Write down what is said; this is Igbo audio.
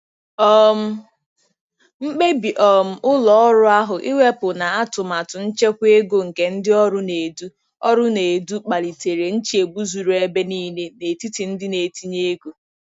um Mkpebi um ụlọ ọrụ ahụ ịwepụ na atụmatụ nchekwa ego nke ndị ọrụ na-edu ọrụ na-edu kpalitere nchegbu zuru ebe niile n'etiti ndị na-etinye ego.